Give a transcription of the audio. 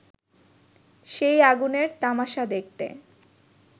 সেই আগুনের তামাশা দেখতে